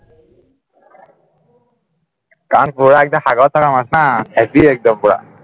কাৰণ পুৰা একদম সাগৰত থকা মাছ ন heavy একদন পুৰা